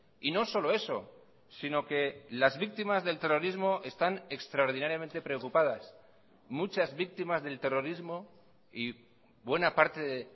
y no solo eso sino que las víctimas del terrorismo están extraordinariamente preocupadas muchas víctimas del terrorismo y buena parte de